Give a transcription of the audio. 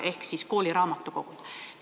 Teemaks on kooliraamatukogud.